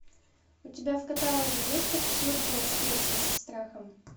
у тебя в каталоге есть абсурдная встреча со страхом